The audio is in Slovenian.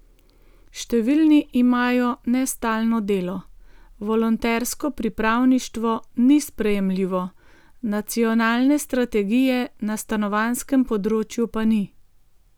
Številni imajo nestalno delo, volontersko pripravništvo ni sprejemljivo, nacionalne strategije na stanovanjskem področju pa ni.